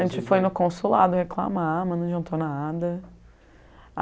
A gente foi no consulado reclamar, mas não adiantou nada.